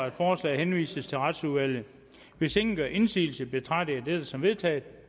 at forslaget henvises til retsudvalget hvis ingen gør indsigelse betragter jeg dette som vedtaget